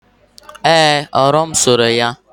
ee, owu m sere ya